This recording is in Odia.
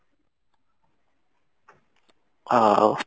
ଆଉ